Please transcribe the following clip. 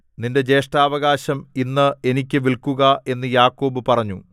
നിന്റെ ജ്യേഷ്ഠാവകാശം ഇന്ന് എനിക്ക് വില്‍ക്കുക എന്നു യാക്കോബ് പറഞ്ഞു